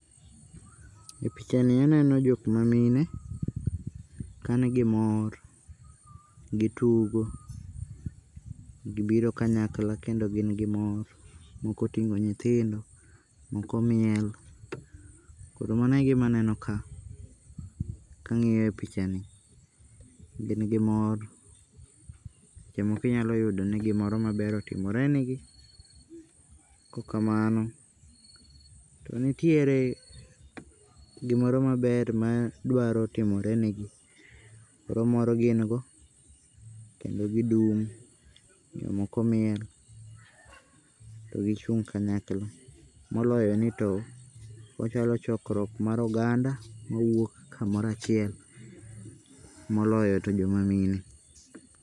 Epichani aneno jok mamine kanigi mor, gitugo, gibiro kanyakla kendo gin gimor. Moko oting'o nyithindo, moko miel koro manoe gima aneno ka, kang'iyo epichani. Gin gimor seche moko inyalo yudo ni gimaber otimore negi, kok kamano to nitiere gimoro maber madwaro timore negi. Koro mor gin go kendo gidum jomoko mielto gichung' kanyakla moloyo nito ochalo chokruok mar oganda mawuok kamoro achiel, moloyo to joma mine.